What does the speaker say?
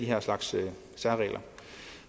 her slags særregler